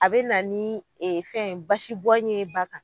A be na nii e fɛn basi bɔn ye ba kan